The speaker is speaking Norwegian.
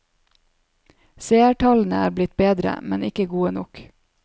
Seertallene er blitt bedre, men ikke gode nok.